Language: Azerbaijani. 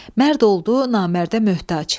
Mərd oldu Namərdə möhtac.